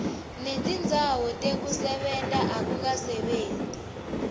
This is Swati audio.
netindzawo tekusebenta akukasebenti